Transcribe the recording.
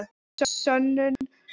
Sönnun lokið.